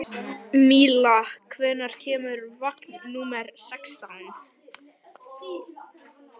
Júlíetta, hvernig er veðrið úti?